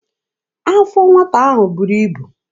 Afọ nwata ahụ buru ibu.